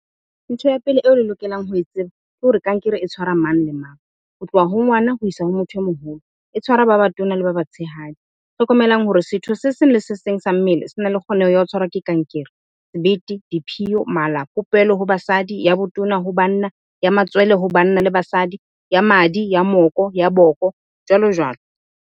Ntho ya pele eo le lokelang ho e tseba, ke hore kankere e tshwara mang le mang. Ho tloha ho ngwana ho isa ho motho e moholo, e tshwara ba batona le ba batshehadi. Hlokomelang hore setho se seng le se seng sa mmele sena le kgoneho ya ho tshwarwa ke kankere. Sebete, diphiyo, mala, popelo ho basadi. Ya botona ho banna, ya matswele ho banna le basadi, ya madi, ya moko, ya boko jwalo jwalo.